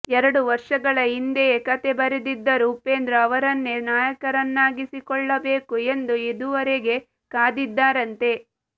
ಎರಡು ವರ್ಷಗಳ ಹಿಂದೆಯೇ ಕಥೆ ಬರೆದಿದ್ದರೂ ಉಪೇಂದ್ರ ಅವರನ್ನೇ ನಾಯಕರನ್ನಾಗಿಸಿಕೊಳ್ಳಬೇಕು ಎಂದು ಇದುವರೆಗೆ ಕಾದಿದ್ದರಂತೆ